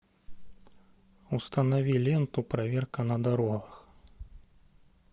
установи ленту проверка на дорогах